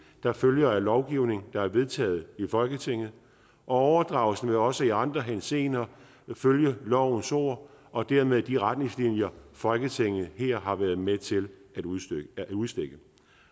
der følger af lovgivning der er vedtaget i folketinget og overdragelsen vil også i andre henseender følge lovens ord og dermed de retningslinjer folketinget har har været med til at udstikke